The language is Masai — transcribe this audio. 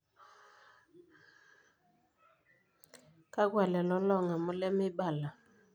Kakwa lelo loong'amu lemeibala?